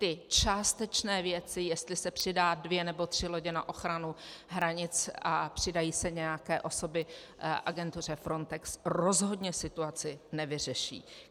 Ty částečné věci, jestli se přidají dvě nebo tři lodě na ochranu hranice a přidají se nějaké osoby agentuře Frontex, rozhodně situaci nevyřeší.